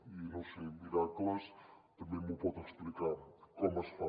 i no ho sé miracles també em pot explicar com es fan